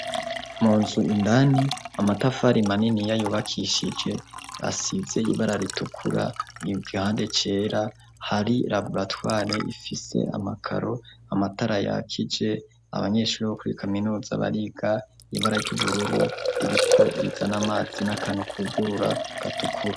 Mu nzu indani amatafari manini yayubakishije asize ibara ritukura yo igihande cera hari labulatware ifise amakaro amatara yakije abanyeshuri bo kuri kaminuza bariga ibara ry'ubururu ririko riza n'amazi n'akana ukugurura gatukura.